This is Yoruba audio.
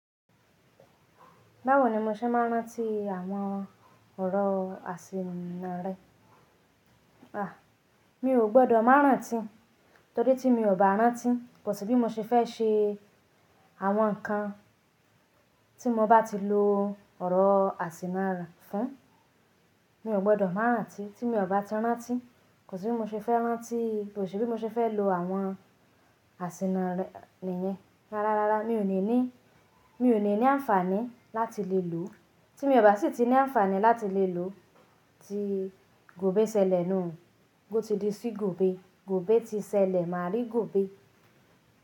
Báwo ni mo ṣe máa rántí àwọn ọ̀rọ̀ àsìnà rẹ? À, mi ò gbọdọ̀ máa rántí, torí tí mi ò bá rántí, kò sì bí mo ṣe fẹ́ ṣe àwọn nǹkan tí mo bá ti lo ọ̀rọ̀ àsìnà fún. Mi ò gbọdọ̀ máa rántí tí mi ò bá ti rántí, kò sì bí mo ṣe fẹ́ rántí, kò sì bí mo ṣe fẹ́ lo àwọn àsìnà nìyẹn. Rárá, rárá, mi ò ní ní, mi ò ní ní àǹfààní láti lè lò ó. Tí mo bá sì ti ní àǹfààní láti lè lò ó, ti gòbé ṣẹlẹ̀ nù, ó ti di sí gòbé. Gòbé ti ṣẹlẹ̀ máa rí gòbé.